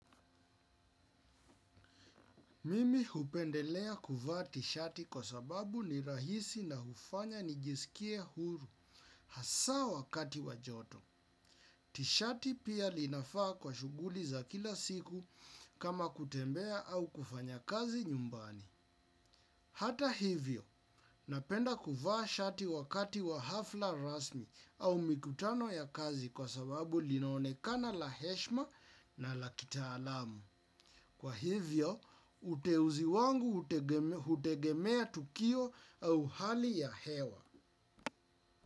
Mimi hupendelea kuvaa tishati kwa sababu ni rahisi na hufanya nijisikie huru hasa wakati wa joto. Tishati pia linafaa kwa shuguli za kila siku kama kutembea au kufanya kazi nyumbani. Hata hivyo, napenda kuvaa shati wakati wa hafla rasmi au mikutano ya kazi kwa sababu linaonekana la heshma na la kitaalamu. Kwa hivyo, uteuzi wangu hutegemea tukio au hali ya hewa.